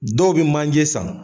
Dɔw be manje san